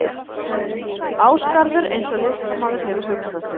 Ásgarður eins og listamaður hefur hugsað sér hann.